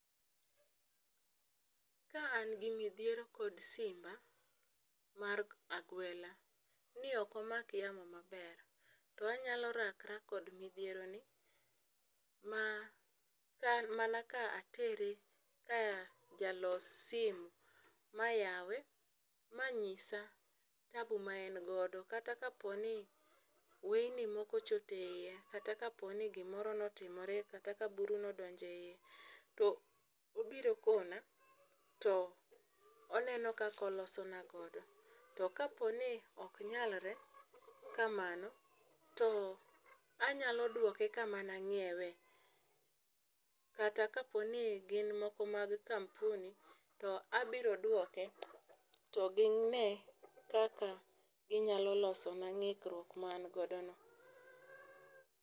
Ka an gi midhiero kod simba mar agwela ni ok omak yamo maber to anyalo rakra kod midhiero ni ma ka mana ka atere ka jalos simu mayawe, manyisa taabu ma en godo kata kapo ni wei moko ochot e iye, kata kapo ni gimoro notimre, kata ka buru nodonje iye to obiro kona to oneno kakolosona godo . To kapo ni ok nyalre kamano ,to anyalo duoke kama nang'iewe kata kapo ni gin moko mag kampuni to abiro duoke to gine kaka ginyalo loso na ng'ikruok ma en godo no.